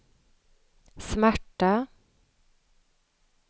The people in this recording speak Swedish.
smärta